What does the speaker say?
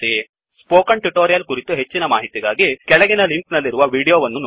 spoken tutorial ಕುರಿತು ಹೆಚ್ಚಿನ ಮಾಹಿತಿಗಾಗಿ ಕೆಳಗಿನ ಲಿಂಕ್ ನಲ್ಲಿರುವ ವೀಡಿಯೊ ನೋಡಿ